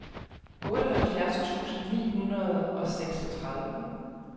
otteoghalvfjerds tusind ni hundrede og seksogtredive